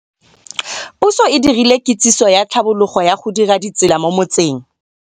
Pusô e dirile kitsisô ya tlhabologô ya go dira ditsela mo motseng.